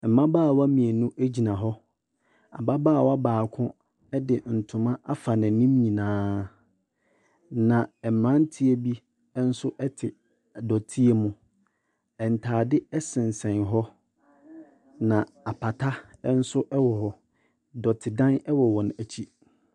Mmabaawa mmienu gyina hɔ. Ababaawa baako de ntoma afa n'anim nyinaa, na mmeranteɛ bi nso te dɔteɛ mu. Ntadeɛ sensɛn hɔ, na apata nso wɔ hɔ. Dɔtedan wɔ wɔn akyi.